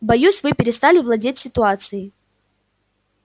боюсь вы перестали владеть ситуацией